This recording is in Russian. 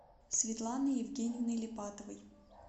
светланой евгеньевной липатовой